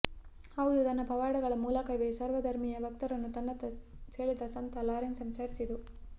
ಹೌದು ತನ್ನ ಪವಾಡಗಳ ಮೂಲಕವೇ ಸರ್ವ ಧರ್ಮೀಯ ಭಕ್ತರನ್ನು ತನ್ನತ್ತ ಸೆಳೆದ ಸಂತ ಲಾರೆನ್ಸರ ಚರ್ಚ್ ಇದು